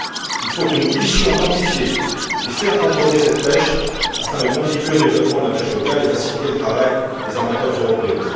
Il faut que nous puissions quantifier et faire contrôler cette pêche afin de contribuer au développement de la pêche locale et de faciliter le travail des armateurs européens.